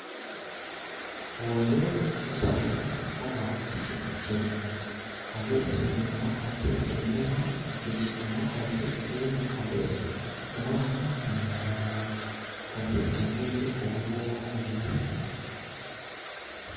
Oyo musaadha ogha pikipiki abese omukazi einhuma ku piki, omukazi yenha abese omwaana ku mugongo omukazi agemye obuveera bu biri.